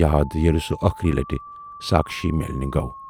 یاد ییلہِ سُہ ٲخری لٹہِ ساکھشی میلنہِ گَو۔